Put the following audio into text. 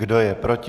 Kdo je proti?